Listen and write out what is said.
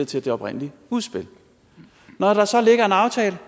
til det oprindelige udspil når der så ligger en aftale